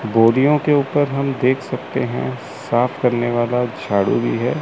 बोरियों के ऊपर हम देख सकते हैं साफ करने वाला झाड़ू भी है।